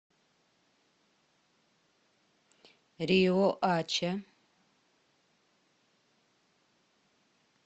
риоача